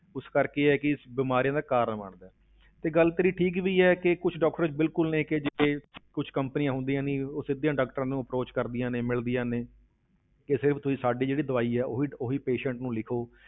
ਉਸ ਕਰਕੇ ਇਹ ਹੈ ਕਿ ਬਿਮਾਰੀਆਂ ਦਾ ਕਾਰਨ ਬਣਦਾ ਹੈ ਤੇ ਗੱਲ ਤੇਰੀ ਠੀਕ ਵੀ ਹੈ ਕਿ ਕੁਛ doctor ਬਿਲਕੁਲ ਨੇ ਕਿ ਜਿਹੜੇ ਕੁਛ companies ਹੁੰਦੀਆਂ ਨੀ ਉਹ ਸਿੱਧੀਆਂ doctors ਨੂੰ approach ਕਰਦੀਆਂ ਨੇ, ਮਿਲਦੀਆਂ ਨੇ ਕਿ ਸਿਰਫ਼ ਤੁਸੀਂ ਸਾਡੀ ਜਿਹੜੀ ਦਵਾਈ ਹੈ ਉਹੀ ਉਹੀ patient ਨੂੰ ਲਿਖੋ।